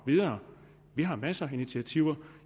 videre vi har masser af initiativer